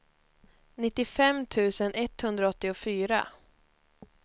nittiofem tusen etthundraåttiofyra